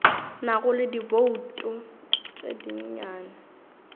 nago le dibouto tše dinnyane